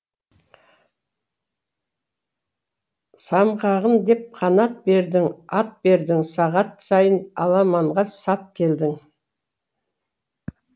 самғағын деп қанат бердің ат бердің сағат сайын аламанға сап келдің